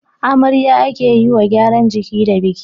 amarya ake yiwa gyaran jiki da biki